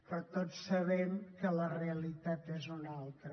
però tots sabem que la realitat és una altra